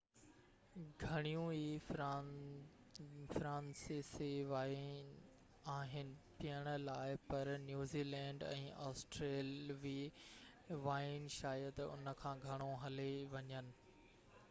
گهڻيون ئي فرانسيسي وائين آهن پيئڻ لاءِ پر نيوزيلينڊ ۽ آسٽريلوي وائين شايد ان کان گهڻو هلي وڃن